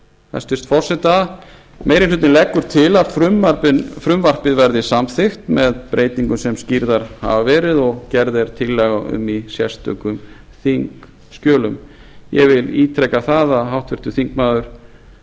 hæstvirts forseta meiri hlutinn leggur til að frumvarpið verði samþykkt með breytingum sem skýrðar hafa verið og gerð er tillaga um í sérstökum þingskjölum ég vil ítreka það að háttvirtur þingmaður